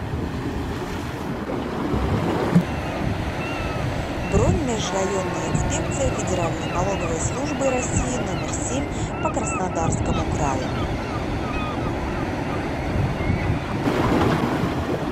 бронь межрайонная инспекция федеральной налоговой службы россии номер семь по краснодарскому краю